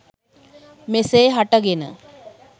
මෙසේ හට ගෙන